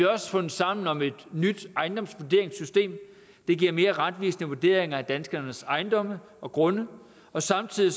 også fundet sammen om et nyt ejendomsvurderingssystem der giver mere retvisende vurderinger af danskernes ejendomme og grunde samtidig